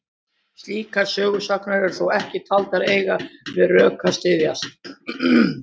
Slíkar sögusagnir eru þó ekki taldar eiga við rök að styðjast.